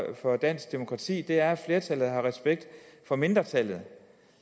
for dansk demokrati er at flertallet har respekt for mindretallet